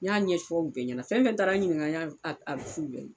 N y'a ɲɛfɔ u bɛɛ ɲɛna fɛn fɛn taara n ɲininka n y'a f'u bɛɛ ye